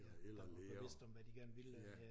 Der var bevidste om hvad de gerne ville